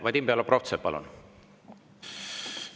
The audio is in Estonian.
Vadim Belobrovtsev, palun!